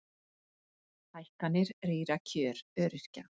Hækkanir rýra kjör öryrkja